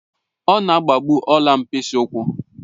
Ọ̀ na-agba bụ ọ̀la mkpịsị ụkwụ